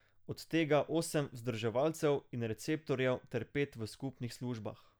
Od tega osem vzdrževalcev in receptorjev ter pet v skupnih službah.